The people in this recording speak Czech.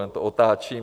Jen to otáčím.